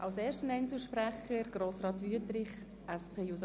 Als erster Einzelsprecher steht Grossrat Wüthrich auf der Liste.